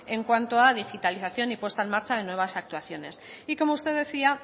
en cuanto a digitalización y puesta en marcha de nuevas actuaciones y como usted decía